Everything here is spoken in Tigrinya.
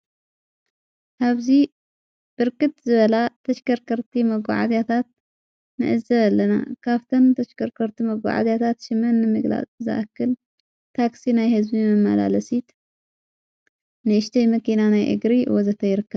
ሃብዙ ብርክት ዝበላ ተሽከርከርቲ መጕዓዚያታት ምእዘብ ኣለና ካፍተን ተሸከርከርቲ መጕዓዚያታት ሽመን ምግላ እዝኣክል ታክሲ ናይ ሕዝቢ መመላለሲት ንእሽተይ መኪናናይ እግሪ ወዘተ ይርከባ ::